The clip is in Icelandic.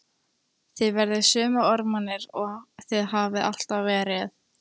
Þið verðið sömu ormarnir og þið hafið alltaf verið.